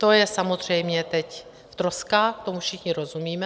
To je samozřejmě teď v troskách, tomu všichni rozumíme.